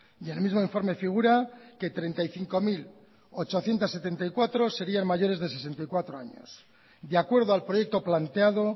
y en el mismo informe figura que treinta y cinco mil ochocientos setenta y cuatro sería mayores de sesenta y cuatro años de acuerdo al proyecto planteado